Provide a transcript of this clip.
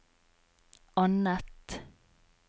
annet